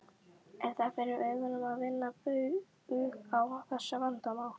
Er það fyrir augum að vinna bug á þessu vandamáli?